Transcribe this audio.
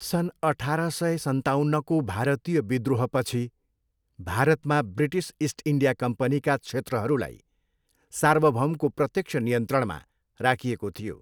सन् अठार सय सन्ताउन्नको भारतीय विद्रोहपछि, भारतमा ब्रिटिस इस्ट इन्डिया कम्पनीका क्षेत्रहरूलाई सार्वभौमको प्रत्यक्ष नियन्त्रणमा राखिएको थियो।